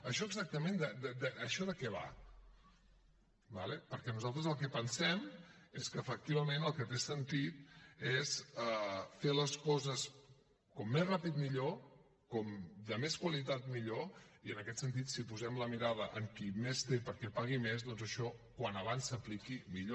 això exactament de què va d’acord perquè nosaltres el que pensem és que efectivament el que té sentit és fer les coses com més ràpid millor com de més qualitat millor i en aquest sentit si posem la mirada en qui més té perquè pagui més doncs això com més aviat s’apliqui millor